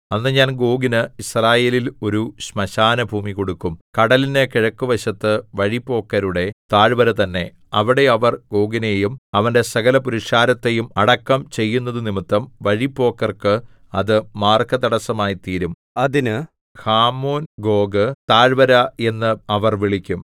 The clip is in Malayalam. അന്ന് ഞാൻ ഗോഗിന് യിസ്രായേലിൽ ഒരു ശ്മശാനഭൂമി കൊടുക്കും കടലിന് കിഴക്കുവശത്ത് വഴിപോക്കരുടെ താഴ്വര തന്നെ അവിടെ അവർ ഗോഗിനെയും അവന്റെ സകലപുരുഷാരത്തെയും അടക്കം ചെയ്യുന്നതുനിമിത്തം വഴിപോക്കർക്ക് അത് മാർഗതടസ്സമായിത്തീരും അതിന് ഹാമോൻഗോഗ് ഗോഗ് പുരുഷാരത്തിന്റെ താഴ്വര എന്ന് അവർ വിളിക്കും